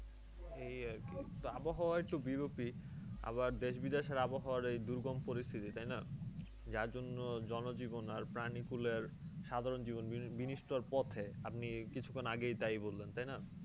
এই আরকি তো আবহাওয়া একটু বিরূপই। আবার দেশ-বিদেশের আবহাওয়ার এই দুর্গম পরিস্থিতি তাই না? যার জন্য জনজীবনের আর প্রাণীগুলোর সাধারণ জীবন বিনষ্টের পথে। আপনি কিছুক্ষণ আগেই তাই বললেন তাই না?